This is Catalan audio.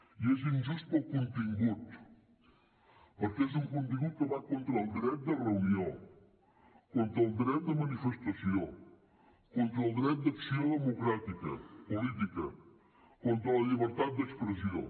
i és injust pel contingut perquè és un contingut que va contra el dret de reunió contra el dret de manifestació contra el dret d’acció democràtica política contra la llibertat d’expressió